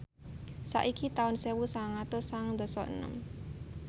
saiki taun sewu sangang atus sangang dasa enem